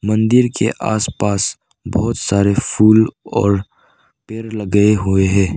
मंदिर के आसपास बहुत सारे फूल और पेड़ लगे हुए हैं।